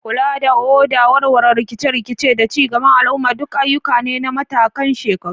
Kula da oda, warware rikice-rikice, da ci gaban al'umma duk ayyuka ne na matakan shekaru.